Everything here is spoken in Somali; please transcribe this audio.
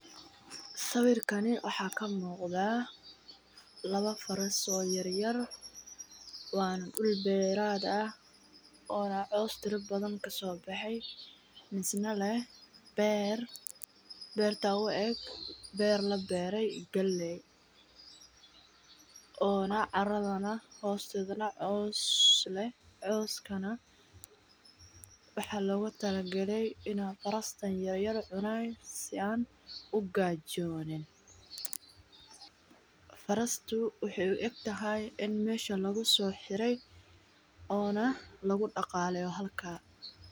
Sawikani waxa kamugda, lawoo faras oo yaryar, wana dul berat ah oo na coos fara badan kasobehey misna leh, beer berta ueg ber laberay galey, onaa caradaa nax xostedanah coos leh, cooskanaa, waxa logutalagalay inay farastan yar yar cunan si ay ugajonin, farastu waxay uegtaxay in mesha lagusoxirey ona lagudagaleyo halka.